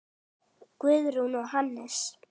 Guðrún og Hannes.